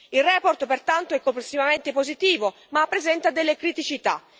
La relazione, pertanto, è complessivamente positiva, ma presenta delle criticità.